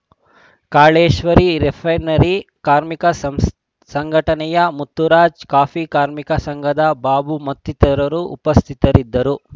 Kaleshwari refinery ಕಾರ್ಮಿಕ ಸಂಸ್ ಸಂಘಟನೆಯ ಮುತ್ತುರಾಜ್ ಕಾಫಿ ಕಾರ್ಮಿಕ ಸಂಘದ ಬಾಬು ಮತ್ತಿತರರು ಉಪಸ್ಥಿತರಿದ್ದರು